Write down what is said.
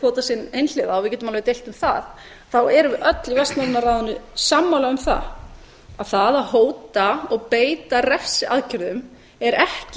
síldveiðikvóta sinn einhliða og við getum alveg deilt um það þá erum við öll í vestnorræna ráðinu sammála um það að það að hóta og beita refsiaðgerðum er ekki